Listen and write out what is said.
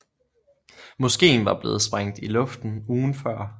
Moskéen var blevet sprængt i luften ugen før